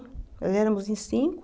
Nós éramos em cinco.